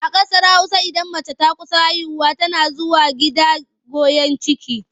A ƙasar Hausa idan mace ta kusa haihuwa tana zuwa gida goyon ciki.